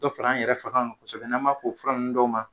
Dɔ fana an yɛrɛ fanga kan kosɛbɛ n'an b'e f o fura ninnu dɔw ma